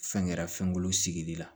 Fɛn kɛra fɛnkolo sigili la